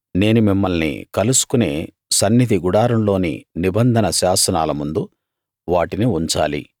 నేను మిమ్మల్ని కలుసుకునే సన్నిధి గుడారంలోని నిబంధన శాసనాల ముందు వాటిని ఉంచాలి